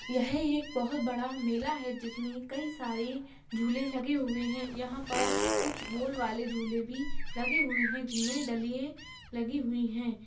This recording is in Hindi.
यह एक बहोत बड़ा मेला है जिसमें कई सारे झूले लगे हुए हैं यहाँ पर कुछ गोल वाले झूले भी लगे हुए हैं जिनमें डलिएं लगी हुई है।